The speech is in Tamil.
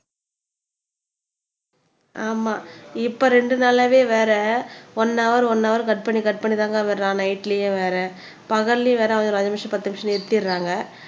ஆமா இப்ப ரெண்டு நாளாவே வேற ஒன்னு ஹௌர் ஒன்னு ஹௌர் கட் பண்ணி கட் பண்ணிதாங்க விடறான் நைட்லயே வேற பகல்லயும் வேற ஒரு அஞ்சு நிமிஷம் பத்து நிமிஷம் நிறுத்திடறாங்க